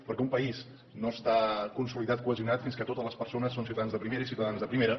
perquè un país no està consolidat cohesionat fins que totes les persones són ciutadans de primera i ciutadanes de primera